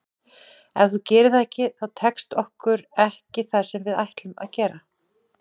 Ef þú gerir það ekki þá tekst okkur ekki það sem við ætlum að gera.